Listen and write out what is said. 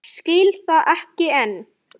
Skil það ekki enn.